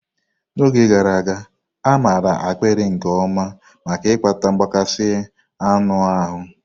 N'oge gara aga, a maara ákpịrị nke ọma maka ịkpata mgbakasị anụ ahụ.